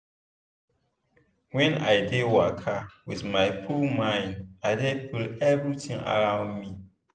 when i dey waka with my full mind i dey feel everitin around me.